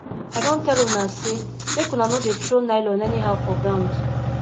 i don tell una say make una no dey throw nylon anyhow for ground